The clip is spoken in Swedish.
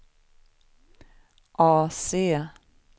AC